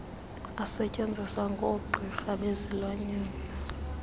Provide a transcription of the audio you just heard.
asetyenziswa ngoogqirha bezilwanyana